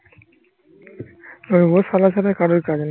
ও সবার সাথে কদর করে।